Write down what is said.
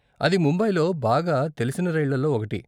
అది ముంబైలో బాగా తెలిసిన రైళ్ళల్లో ఒకటి.